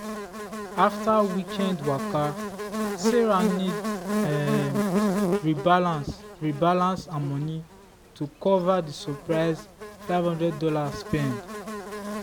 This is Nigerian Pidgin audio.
after weekend waka sarah need um rebalance rebalance her money to cover the surprise five hundred dollars spend.